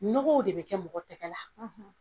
Nɔgɔw de bɛ kɛ mɔgɔ tɛgɛla